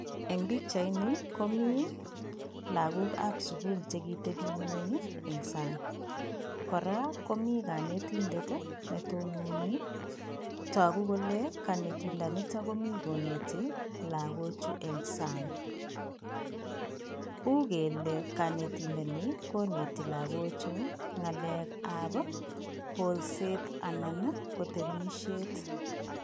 Eng pichaini komi lagokab sugul che kitebi eng ingwony eng sang. Kora komi kanetindet, netononi. Tagu kole kanetindonito komi koneti lagochu eng sang. Ugele kanetindoni koneti lagochu ngalekab kolset anan ko temisiet.